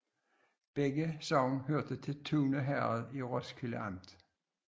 Begge sogne hørte til Tune Herred i Roskilde Amt